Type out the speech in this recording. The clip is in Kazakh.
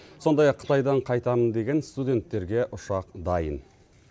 сондай ақ қытайдан қайтамын деген студенттерге ұшақ дайын